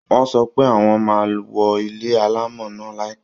Wọ́n sọ pé wọ́n máa wó ilé alámọ̀ náà láìpẹ́